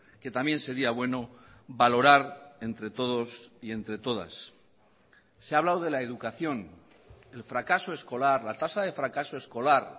que también sería bueno valorar entre todos y entre todas se ha hablado de la educación el fracaso escolar la tasa de fracaso escolar